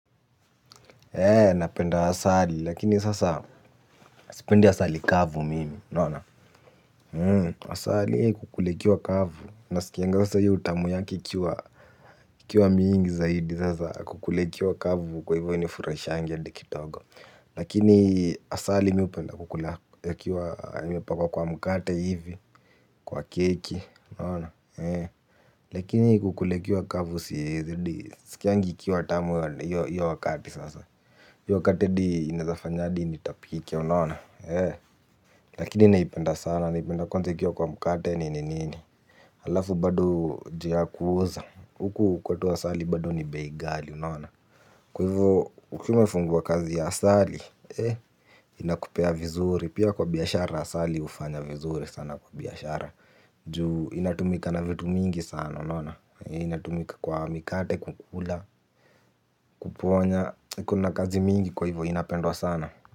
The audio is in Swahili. Napenda asali lakini sasa, sipendi asali kavu mimi. Asali kukula ikiwa kavu nasikianga sasa hio utamu yake ikiwa mingi zaidi. Kukula ikiwa kavu kwa hivyo hainifurahishangi hata kidogo. Lakini asali mi hupenda kukula ikiwa imepakwa kwa mkate hivi, kwa keki, lakini kukula ikiwa kavu siwezi, siskiangi ikiwa tamu hio wakati sasa. Hio wakati hadi inaezafanya hadi nitapika. Lakini naipenda sana, naipenda kwanza ikiwa kwa mkate nini nini. Halafu bado ju ya kuuza. Huku kwetu asali bado ni bei ghali unaona. Kwa hivyo ukiwa umefungua kazi ya asali, inakupea vizuri. Pia kwa biashara asali hufanya vizuri sana kwa biashara. Ju inatumika na vitu mingi sana, unaona? Inatumika kwa mikate, kukula, kuponya, kuna kazi mingi kwa hivyo inapendwa sana.